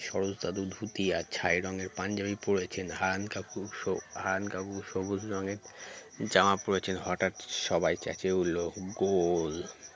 সরোজ দাদু ধুতি আর ছাই রঙের পাঞ্জাবি পরেছেন হারান কাকু স হারান কাকু সবুজ রঙের জামা পরেছেন হঠাৎ সবাই চেঁচিয়ে উঠলো goal